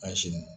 A si